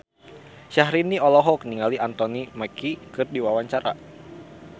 Syahrini olohok ningali Anthony Mackie keur diwawancara